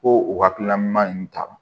Ko o hakilina ɲuman ninnu ta